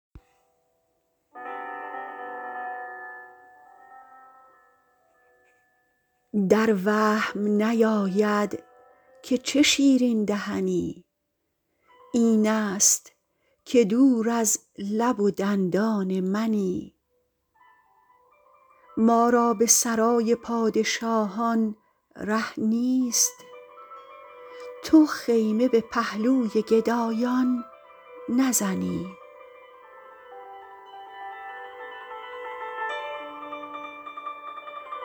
در وهم نیاید که چه شیرین دهنی این ست که دور از لب و دندان منی ما را به سرای پادشاهان ره نیست تو خیمه به پهلوی گدایان نزنی